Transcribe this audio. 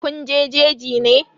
Kun je jeji ne?